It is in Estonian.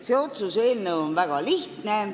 See otsuse eelnõu on väga lihtne.